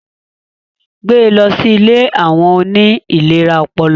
Gbẹ lọ si ìlé awọn oni ìléra ọpọlọ